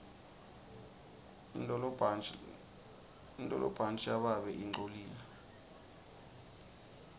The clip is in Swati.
intolibhantji lababe lingcolile